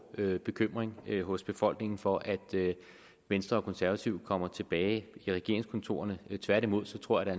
bekymring hos befolkningen for at venstre og konservative kommer tilbage i regeringskontorerne tværtimod tror jeg